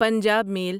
Punjab میل